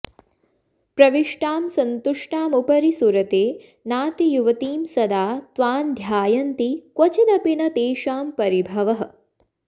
प्रविष्टां सन्तुष्टामुपरि सुरते नातियुवतीं सदा त्वान्ध्यायन्ति क्वचिदपि न तेषाम्परिभवः